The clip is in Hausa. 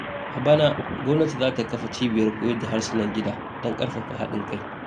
A bana, gwamnati za ta kafa cibiyar koyar da harsunan gida don karfafa haɗin kai.